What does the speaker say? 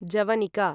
जवनिका